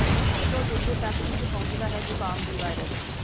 ਇੱਕ ਤੋਂ ਦੂਜੇ ਤੱਕ ਇੰਝ ਪਹੁੰਚਦਾ ਹੈ ਜ਼ੁਕਾਮ ਦੀ ਵਾਇਰਸ